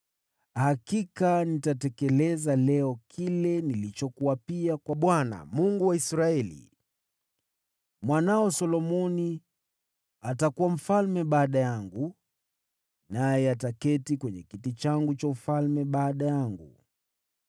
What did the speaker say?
hakika nitatekeleza leo kile nilichokuapia kwa Bwana , Mungu wa Israeli: Mwanao Solomoni atakuwa mfalme baada yangu, naye ataketi kwenye kiti changu cha ufalme baada yangu.”